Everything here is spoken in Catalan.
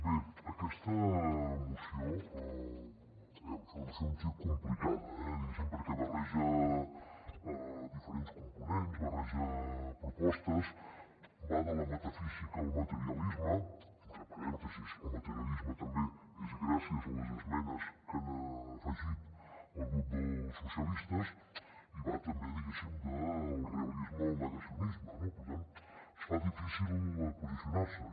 bé aquesta moció aviam és una moció un xic complicada eh diguéssim perquè barreja diferents components barreja propostes va de la metafísica al materialisme entre parèntesis el materialisme també és gràcies a les esmenes que hi ha afegit el grup socialistes i va també diguéssim del realisme al negacionisme no per tant es fa difícil posicionar s’hi